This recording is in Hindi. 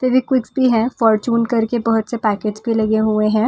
फैविकुइक्स भी हैं फॉरच्यून करके बहुत से पैकिट्स भी लगे हुए हैं।